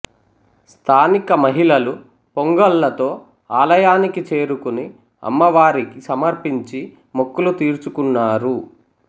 స్థానిక మహిళలు పొంగళ్ళతో ఆలయానికి చేరుకుని అమ్మవారికి సమర్పించి మొక్కులు తీర్చుకున్నారు